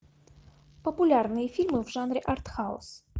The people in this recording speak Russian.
популярные фильмы в жанре артхаус